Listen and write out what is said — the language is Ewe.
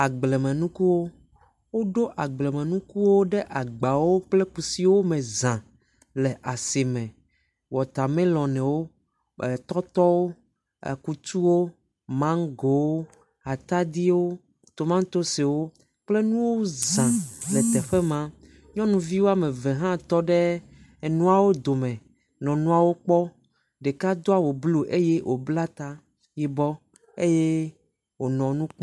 Agblemenukuwo ; woɖo agblemenukuwo ɖe agbawo kple kusiwo me za le asime. Watamelɔnwo, tɔtɔwo, kutsuwo, mangowo, atadiwo tomatosiwo kple nuwo zã le teɖe maa. Nyɔnuvi woame eve hã tɔ ɖe enuawo dome nɔawo kpɔm. Ɖeka doa awu blu eye wobla ta yibɔ eye wonɔ nu………